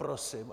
Prosím.